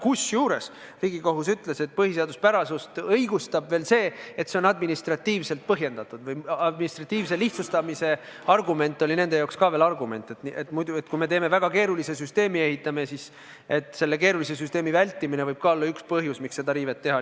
Kusjuures Riigikohus ütles, et muudatust õigustab veel see, et see on administratiivselt põhjendatud – administratiivse lihtsustamise argument oli nende jaoks ka veel argument: et kui me teeme väga keerulise süsteemi, siis selle keerulise süsteemi muutmine võib ka olla üks põhjus, miks seda riivet lubada.